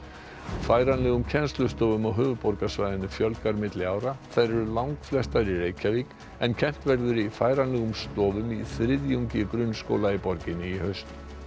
færanlegum kennslustofum á höfuðborgarsvæðinu fjölgar milli ára þær eru langflestar í Reykjavík en kennt verður í færanlegum stofum í þriðjungi grunnskóla í borginni í haust